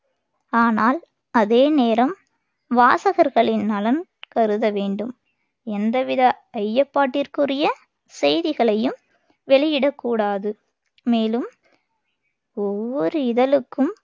ஆனால், அதே நேரம் வாசகர்களின் நலன் கருத வேண்டும். எந்தவித ஐயப்பாட்டிற்குரிய செய்திகளையும் வெளியிடக்கூடாது. மேலும், ஒவ்வொரு இதழுக்கும்